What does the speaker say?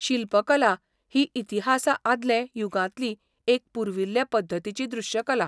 शिल्पकला ही इतिहासाआदले युगांतली एक पुर्विल्ले पद्दतीची दृश्य कला.